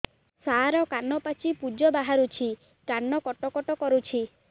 ସାର କାନ ପାଚି ପୂଜ ବାହାରୁଛି କାନ କଟ କଟ କରୁଛି